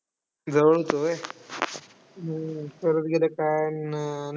जवळ होतं व्हय? हम्म परत गेलं काय. अन्